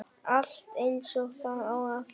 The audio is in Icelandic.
Allt eins og það á að vera